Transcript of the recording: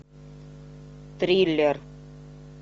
триллер